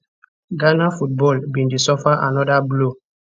ghana football bin dey suffer anoda blow